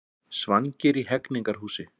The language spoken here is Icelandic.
Svangir í Hegningarhúsi